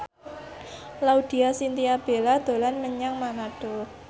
Laudya Chintya Bella dolan menyang Manado